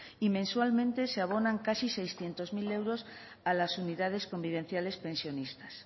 y mensualmente se abonan casi seiscientos mil euros a las unidades convivenciales pensionistas